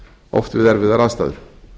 oft við erfiðar aðstæður